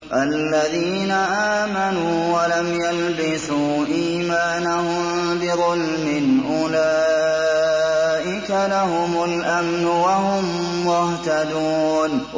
الَّذِينَ آمَنُوا وَلَمْ يَلْبِسُوا إِيمَانَهُم بِظُلْمٍ أُولَٰئِكَ لَهُمُ الْأَمْنُ وَهُم مُّهْتَدُونَ